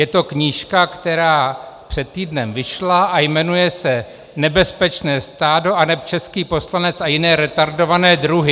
Je to knížka, která před týdnem vyšla a jmenuje se Nebezpečné stádo aneb český poslanec a jiné retardované druhy.